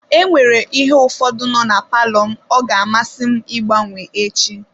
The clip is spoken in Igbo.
E nwere ihe ụfọdụ nọ na palọ m, ọ ga-amasị m ịgbanwe echi.